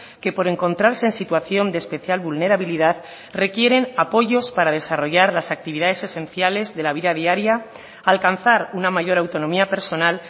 que por encontrarse en situación de especial vulnerabilidad requieren apoyos para desarrollar las actividades esenciales de la vida diaria alcanzar una mayor autonomía personal